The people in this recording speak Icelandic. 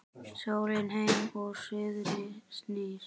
Sólin heim úr suðri snýr